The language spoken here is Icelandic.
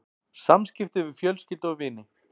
SAMSKIPTI VIÐ FJÖLSKYLDU OG VINI